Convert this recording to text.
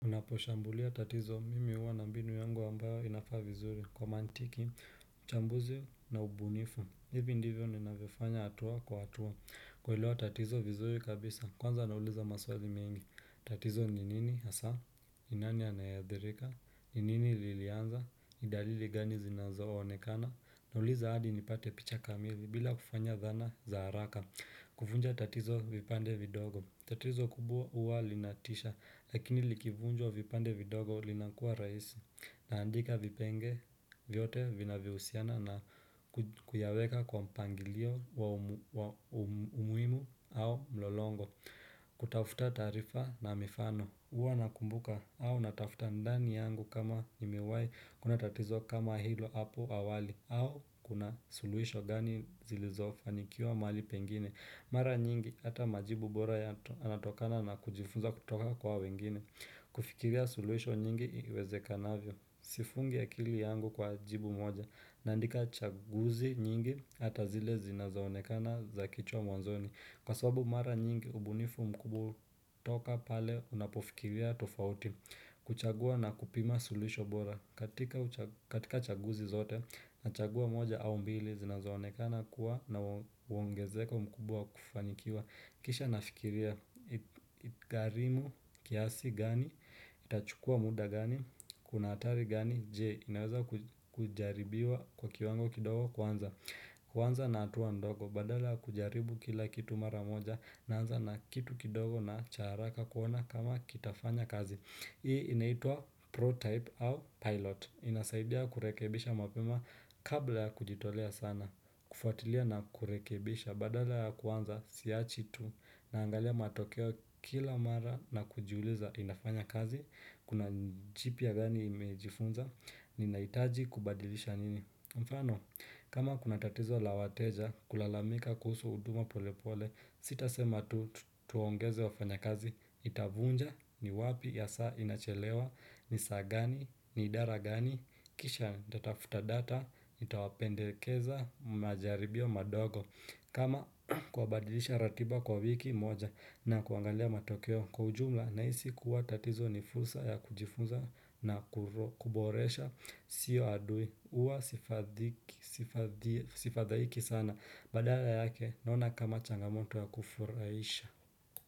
Unaposhambulia tatizo mimi huwa na mbinu yangu ambayo inafaa vizuri kwa mantiki, uchambuzi na ubunifu, hivi ndivyo ninavyofanya hatua kwa hatua, kuelewa tatizo vizuri kabisa, kwanza nauliza maswazi mengi, tatizo ni nini hasa, ni nani anayeadhirika, ni nini lilianza, ni dalili gani zinazazonekana, nauliza hadi nipate picha kamili bila kufanya dhana za haraka, kuvunja tatizo vipande vidogo, tatizo kubwa huwa linatisha, lakini likivunjwa vipande vidogo linakua rahisi, naandika vipenge vyote vinavyohusiana na kuyaweka kwa mpangilio wa umuhimu au mlolongo, kutafuta taarifa na mifano, huwa nakumbuka au natafuta ndani yangu kama nimewai kuwa na tatizo kama hilo hapo awali, au kuna suluisho gani zilizofanikiwa mahali pengine. Mara nyingi ata majibu bora yanatokana na kujifunza kutoka kwa wengine. Kufikiria suluhisho nyingi iwezekanavyo Sifungi akili yangu kwa jibu moja. Naandika chaguzi nyingi ata zile zinazaonekana za kichwa mwanzoni. Kwa sabu mara nyingi ubunifu mkuu hutoka pale unapofikiria tofauti. Kuchagua na kupima suluhisho bora katika katika chaguzi zote nachagua moja au mbili zinazonekana kuwa na uongezeko mkubwa kufanikiwa Kisha nafikiria itagarimu kiasi gani, itachukua muda gani, kuna hatari gani, je, inaweza kujaribiwa kwa kiwango kidogo kwanza Kwanza na hatua ndogo badala ya kujaribu kila kitu mara moja naanza na kitu kidogo na cha haraka kuona kama kitafanya kazi hii inaitwa pro-type au pilot. Inasaidia kurekebisha mapema kabla ya kujitolea sana. Kufuatilia na kurekebisha badala ya kuanza siachi tu naangalia matokeo kila mara na kujiuliza inafanya kazi. Kuna jipya gani nimejifunza ninahitaji kubadilisha nini. Mfano, kama kuna tatizo la wateja kulalamika kuhusu huduma pole pole, sitasema tu tuongeze wafanya kazi, itavunja, ni wapi, ya saa inachelewa, ni saa gani, ni idara gani, kisha nitatafuta data, itawapendekeza, majaribio madogo. Kama kuwabadilisha ratiba kwa wiki moja na kuangalia matokeo kwa ujumla nahisi kuwa tatizo ni fursa ya kujifunza na kuboresha sio adui huwa sifadhaiki sana badala yake naona kama changamoto ya kufurahisha.